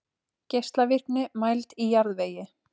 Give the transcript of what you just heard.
Geislavirkni mæld í jarðvegi.